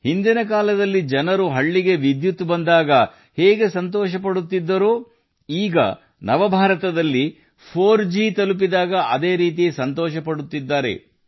ಹಾಗೆ ಹಿಂದಿನ ಜನರು ಹಳ್ಳಿಗೆ ವಿದ್ಯುತ್ ಬಂದಾಗ ಸಂತೋಷಪಡುತ್ತಿದ್ದರು ಈಗ ನವ ಭಾರತದಲ್ಲಿ 4ಜಿ ಅಲ್ಲಿಗೆ ತಲುಪಿದಾಗ ಅದೇ ಸಂತೋಷವನ್ನು ಅನುಭವಿಸಲಾಗುತ್ತದೆ